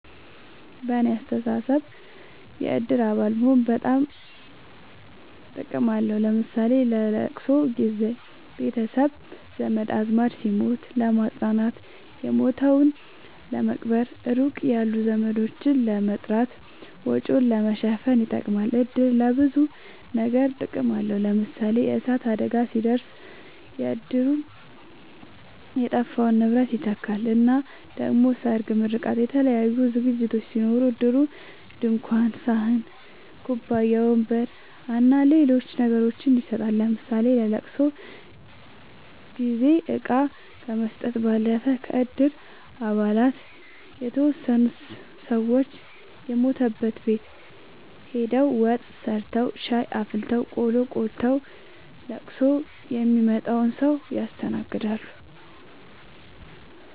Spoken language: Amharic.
በኔ አስተሳሰብ የእድር አባል መሆን በጣም ጥቅም አለዉ ለምሳሌ ለለቅሶ ጊዘ ቤተሰብ ዘመድአዝማድ ሲሞት ለማጽናናት የሞተዉን ለመቅበር ሩቅ ያሉ ዘመዶችን ለመጥራት ወጪን ለመሸፈን ይጠቅማል። እድር ለብዙ ነገር ጥቅም አለዉ ለምሳሌ የእሳት አደጋ ሲደርስ እድሩ የጠፋውን ንብረት ይተካል እና ደሞ ሰርግ ምርቃት የተለያዩ ዝግጅቶች ሲኖሩ እድሩ ድንኳን ሰሀን ኩባያ ወንበር አና ሌሎች ነገሮችን ይሰጣል ለምሳሌ ለለቅሶ ጊዜ እቃ ከመስጠት ባለፈ ከእድር አባላት የተወሰኑት ሰወች የሞተበት ቤት ሆደው ወጥ ሰርተዉ ሻይ አፍልተው ቆሎ ቆልተዉ ለቅሶ ሚመጣዉን ሰዉ ያስተናግዳሉ።